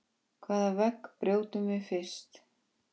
Hvaða vegg brjótum við fyrst?